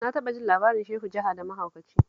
Na taɓa jin labarin Shehu jaha da mahaukaci